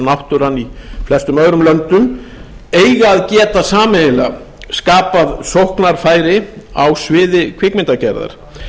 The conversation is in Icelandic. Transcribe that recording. náttúran í flestum öðrum löndum eiga að geta sameiginlega skapað sóknarfæri á sviði kvikmyndagerðar